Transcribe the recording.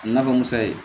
I na fɔ musa ye